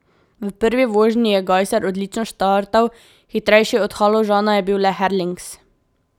V prvi vožnji je Gajser odlično štartal, hitrejši od Haložana je bil le Herlings.